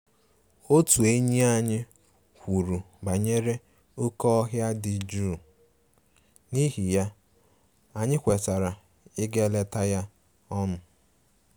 Otu enyi anyị kwuru banyere oké ọhịa dị jụụ, n’ihi ya, anyị kwetara ịga leta ya ọnụ